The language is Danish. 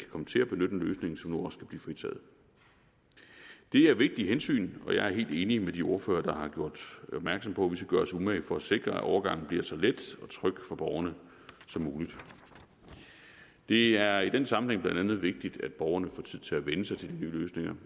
komme til at benytte en løsning så nu også kan blive fritaget det er vigtige hensyn og jeg er helt enig med de ordførere der har gjort opmærksom på at vi skal gøre os umage for at sikre at overgangen bliver så let og tryg for borgerne som muligt det er i den sammenhæng blandt andet vigtigt at borgerne får tid til at vænne sig til de nye løsninger